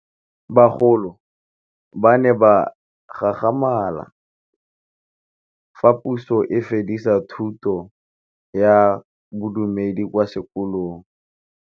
Bagolo ba ne ba gakgamala fa Pusô e fedisa thutô ya Bodumedi kwa dikolong.